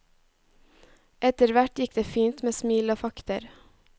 Etterhvert gikk det fint med smil og fakter.